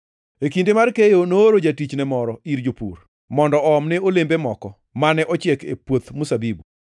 E kinde mar keyo nooro jatichne moro ir jopur puodho mondo oomne olembe moko mane ochiek e puoth mzabibu.